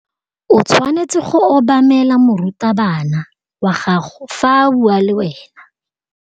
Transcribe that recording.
O tshwanetse go obamela morutabana wa gago fa a bua le wena.